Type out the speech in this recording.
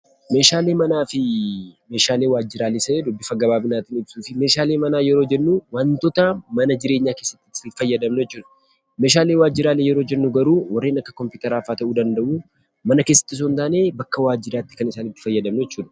Meeshaalee manaa fi meeshaalee waajjiraalee isa jedhu bifa gabaabinaatiin ibsuuf, meeshaalee manaa yeroo jennu wantoota mana jireenyaa keessatti itti fayyadamnu jechuu dha. Meeshaalee waajjiraalee yeroo jennu garuu warreen akka kompiitaraa faa ta'uu danda'u; mana keessatti osoo hin taane, bakka waajjiraatti kan isaanittii fayyadamnu jechuu dha.